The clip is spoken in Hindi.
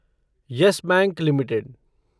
yes Bank limited